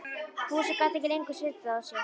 Fúsi gat ekki lengur setið á sér.